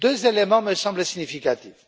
Deux éléments me semblent significatifs.